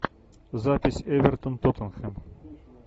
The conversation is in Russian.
запись эвертон тоттенхэм